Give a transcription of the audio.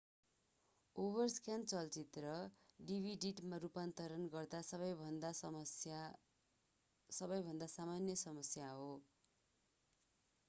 overscan चलचित्र डिभिडिटमा रूपान्तरण गर्दा सबैभन्दा सामान्य समस्या हो